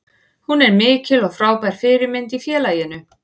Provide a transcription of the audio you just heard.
Hún er mikil og frábær fyrirmynd í félaginu.